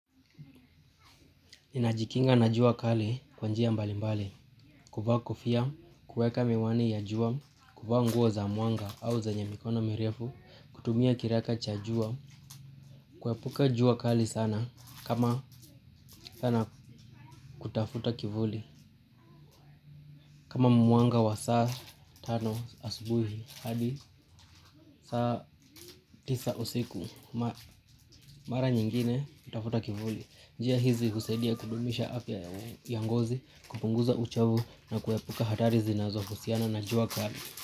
Ninajikinga na jua kali kwa njia mbali mbali, kufa kofia, kuweka miwani ya jua, kufa nguo za muanga au zenye mikono mirefu, kutumia kiraka cha jua, kuepuka jua kali sana, kama sana kutafuta kivuli, kama muanga wa saa tano asubuhi, hadi saa tisa usiku, mara nyingine kutafuta kivuli. Njia hizi husedia kudumisha afya ya ngozi kupunguza uchovu na kuepuka hatari zinazohusiana na juwa kali.